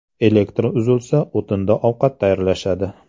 Elektr uzilsa, o‘tinda ovqat tayyorlashadi”.